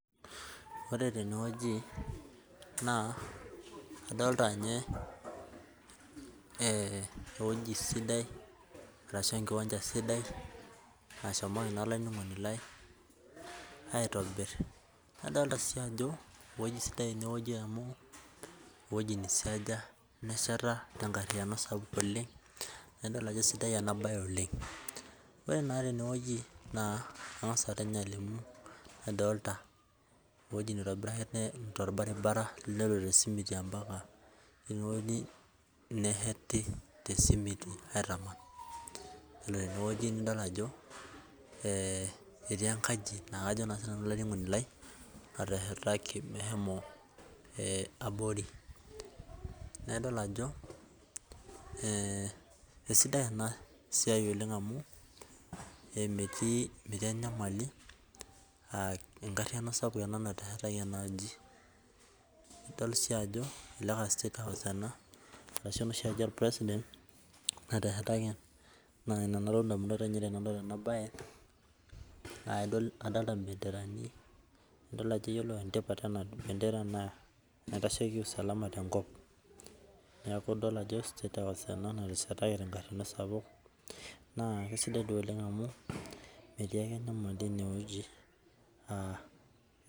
Ore tenewueji naa adolita ewueji sidai ashu enkiwanja sidai nahomoko aitobir nadolitie Ajo ewueji sidai amu kisiasha nesheta tenkariano sidai oleng naa edol Ajo sidai ena mbae oleng adolita ewueji nitobira torbaribara nitobira tee simiti neshete tee simiti aitaman ore tenewueji nidol Ajo etii enkaji nateshetaki mehomo abori naa edol Ajo esidai ena siai oleng amu metii enyamali enkariano sidai oleng nateshetaki ena aji nidol sii Ajo elelek a statehouse ena ashu enoshi aji orpresident nateshetaki naa ena toki nalotu edamunot tenadol ena mbae nadolita bendera nidol Ajo ore tipat ena bendera naa kitasheki usalama tenkop neeku edol Ajo statehouse ena nateshetaki tenkariano sapuk naa kisidai oleng amu metii enyamali ene wueji naa